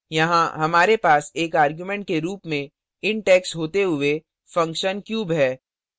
यहाँ हमारे पास एक argument के रूप में int x होते हुए function cube है